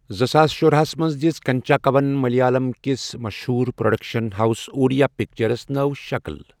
زٕ ساس شرہس منٛز دِژ کنچاکوَن ملیالم کِس مشہوٗر پروڈکشن ہاوس، اورِیا پکچرس نٔو شکل۔